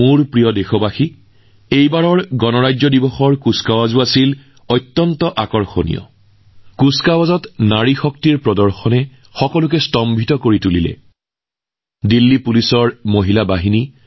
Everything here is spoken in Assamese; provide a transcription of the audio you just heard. মোৰ প্ৰিয় দেশবাসী এইবাৰ ২৬ জানুৱাৰীৰ পেৰেড যথেষ্ট আচৰিত আছিল কিন্তু আটাইতকৈ চৰ্চিত কথাটো আছিল পেৰেডত মহিলা শক্তি